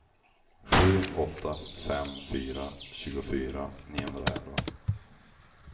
sju åtta fem fyra tjugofyra niohundraelva